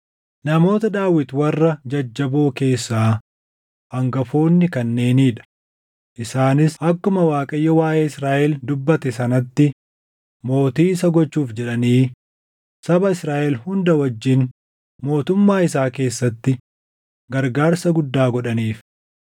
Namoota Daawit warra jajjaboo keessaa hangafoonni kanneenii dha; isaanis akkuma Waaqayyo waaʼee Israaʼel dubbate sanatti mootii isa gochuuf jedhanii saba Israaʼel hunda wajjin mootummaa isaa keessatti gargaarsa guddaa godhaniif.